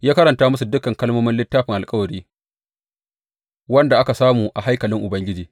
Ya karanta musu duk kalmomin Littafin Alkawari, wanda aka samu a haikalin Ubangiji.